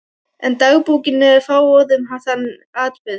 En dagbókin er fáorð um þann atburð.